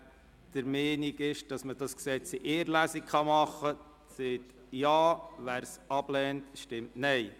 Wer der Meinung ist, das Gesetz könne in einer Lesung beraten werden, stimmt Ja, wer dies ablehnt, stimmt Nein.